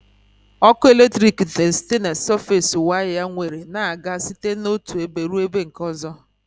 Ọkụ eletrik na esite na sọfes waya nwere na-aga site n'otụ ebe rụọ ebe nke ọzọ